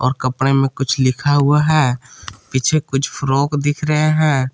और कपड़े में कुछ लिखा हुआ है पीछे कुछ फ्रॉक दिख रहे हैं।